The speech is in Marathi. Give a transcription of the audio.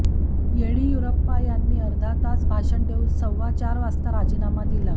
येडियुरापा यांनी अर्धा तास भाषण देऊन सव्वा चार वाजता राजीनामा दिला